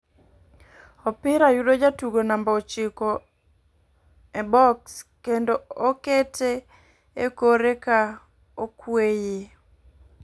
Opira yudo jatugo namba ochiko e bok kendo okete e kore ka okweyo